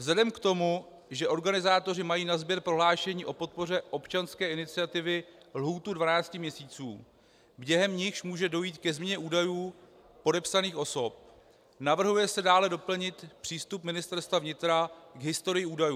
Vzhledem k tomu, že organizátoři mají na sběr prohlášení o podpoře občanské iniciativy lhůtu 12 měsíců, během nichž může dojít ke změně údajů podepsaných osob, navrhuje se dále doplnit přístup Ministerstva vnitra k historii údajů.